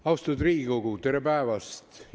Austatud Riigikogu, tere päevast!